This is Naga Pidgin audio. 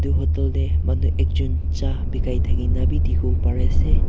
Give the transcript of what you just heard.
Hotel dae manu ekjun cha bekai thakina bhi dekhivo parey ase.